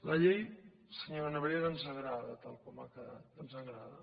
la llei senyora nebrera ens agrada tal com ha quedat ens agrada